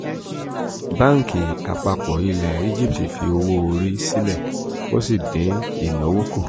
báńkì àpapọ̀ ilẹ̀ egipti fi owó orí sílẹ̀ ó sì dín ìnáwó kù